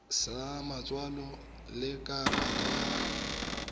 sa matsalo le karata ya